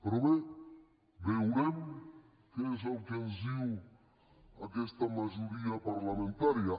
però bé veurem què és el que ens diu aquesta majoria parlamentària